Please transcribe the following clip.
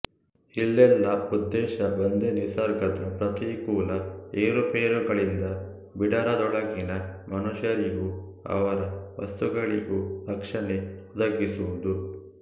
ಇಲ್ಲೆಲ್ಲ ಉದ್ದೇಶ ಒಂದೇನಿಸರ್ಗದ ಪ್ರತಿಕೂಲ ಏರುಪೇರುಗಳಿಂದ ಬಿಡಾರದೊಳಗಿನ ಮನುಷ್ಯರಿಗೂ ಅವರ ವಸ್ತುಗಳಿಗೂ ರಕ್ಷಣೆ ಒದಗಿಸುವುದು